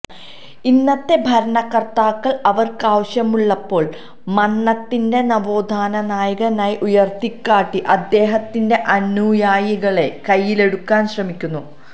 ഇന്നത്തെ ഭരണകർത്താക്കൾ അവർക്കാവശ്യമുള്ളപ്പോൾ മന്നത്തിനെ നവോത്ഥാനനായകനായി ഉയർത്തിക്കാട്ടി അദ്ദേഹത്തിന്റെ അനുയായികളെ കയ്യിലെടുക്കാൻ ശ്രമിക്കുന്നു